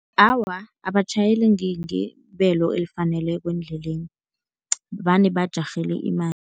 Awa, abatjhayeli ngebelo elifaneleko endleleni, vane bajarhele imali.